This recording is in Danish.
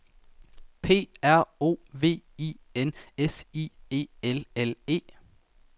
P R O V I N S I E L L E